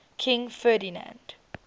king ferdinand